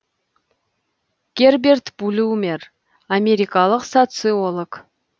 герберт блюмер америкалық социолог